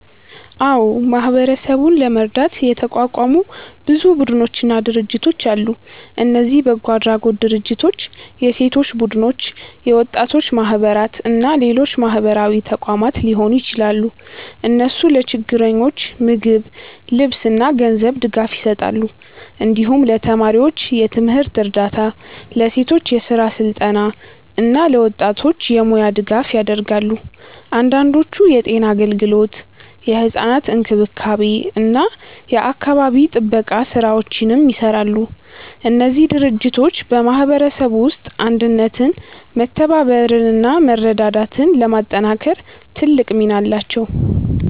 አዎ፣ ማህበረሰቡን ለመርዳት የተቋቋሙ ብዙ ቡድኖችና ድርጅቶች አሉ። እነዚህ በጎ አድራጎት ድርጅቶች፣ የሴቶች ቡድኖች፣ የወጣቶች ማህበራት እና ሌሎች ማህበራዊ ተቋማት ሊሆኑ ይችላሉ። እነሱ ለችግረኞች ምግብ፣ ልብስ እና ገንዘብ ድጋፍ ይሰጣሉ። እንዲሁም ለተማሪዎች የትምህርት እርዳታ፣ ለሴቶች የስራ ስልጠና እና ለወጣቶች የሙያ ድጋፍ ያደርጋሉ። አንዳንዶቹ የጤና አገልግሎት፣ የሕፃናት እንክብካቤ እና የአካባቢ ጥበቃ ስራዎችንም ይሰራሉ። እነዚህ ድርጅቶች በማህበረሰቡ ውስጥ አንድነትን፣ መተባበርን እና መረዳዳትን ለማጠናከር ትልቅ ሚና አላቸው።